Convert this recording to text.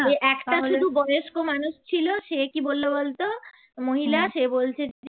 ওই একটা শুধু বয়স্ক মানুষ ছিল সে কি বললো বলতো মহিলা সে বলছে